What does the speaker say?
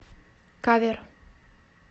кавер